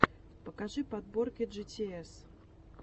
покажи подборки джитиэс